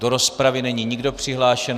Do rozpravy není nikdo přihlášen.